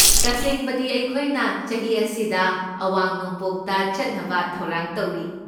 ꯇꯁꯦꯡꯕꯗꯤ, ꯑꯩꯈꯣꯏꯅ ꯆꯍꯤ ꯑꯁꯤꯗ ꯑꯋꯥꯡ ꯅꯣꯡꯄꯣꯛꯇ ꯆꯠꯅꯕ ꯊꯧꯔꯥꯡ ꯇꯧꯔꯤ꯫